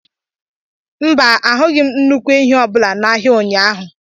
Mba, ahụghị m nnukwu ehi ọbụla n'ahịa ụnyaahụ.